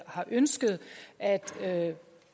har ønsket at